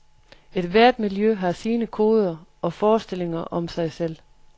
Ethvert miljø har sine koder og forestillinger om sig selv.